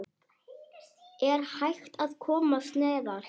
Er hægt að komast neðar?